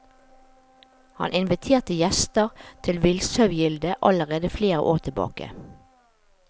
Han inviterte gjester til villsaugilde allerede flere år tilbake.